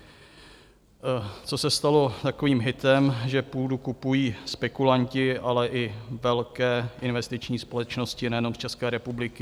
Co se stalo takovým hitem, že půdu kupují spekulanti, ale i velké investiční společnosti nejenom z České republiky.